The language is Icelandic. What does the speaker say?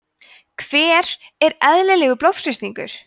hver er eðlilegur blóðþrýstingur